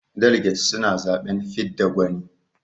Daliget suna zaɓen fidda gwani.